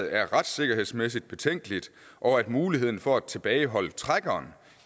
er retssikkerhedsmæssig betænkeligt og at muligheden for at tilbageholde trækkeren